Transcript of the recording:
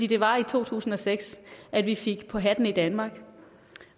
det var i to tusind og seks at vi fik på hatten i danmark